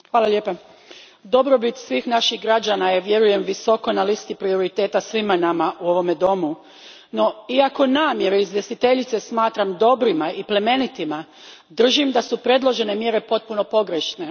Gospođo predsjednice, dobrobit svih naših građana je, vjerujem, visoko na listi prioriteta svima nama u ovom domu. No, iako namjere izvjestiteljice smatram dobrima i plemenitima, držim da su predložene mjere potpuno pogrešne.